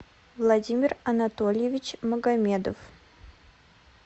владимир анатольевич магомедов